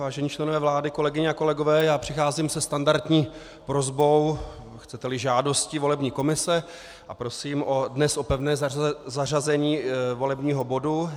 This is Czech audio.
Vážení členové vlády, kolegyně a kolegové, přicházím se standardní prosbou, chcete-li žádostí, volební komise a prosím dnes o pevné zařazení volebního bodu.